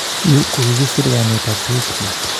Yu kokikiser kainetab sigikchi